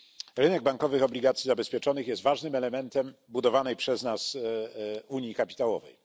Rynek bankowych obligacji zabezpieczonych jest ważnym elementem budowanej przez nas unii kapitałowej.